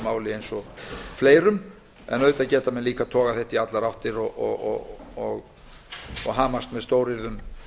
máli eins og fleirum en auðvitað geta menn líka togað þetta í allar áttir og hamast með stóryrðum